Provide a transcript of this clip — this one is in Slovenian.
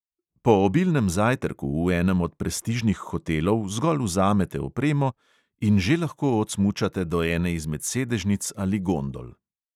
Po obilnem zajtrku v enem od prestižnih hotelov zgolj vzamete opremo in že lahko odsmučate do ene izmed sedežnic ali gondol.